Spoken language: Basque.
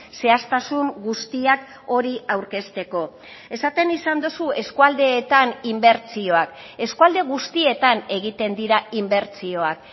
zehaztasun guztiak hori aurkezteko esaten izan duzu eskualdeetan inbertsioak eskualde guztietan egiten dira inbertsioak